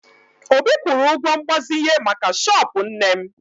Obi kwụrụ ụgwọ mgbazinye maka shọọpụ nne m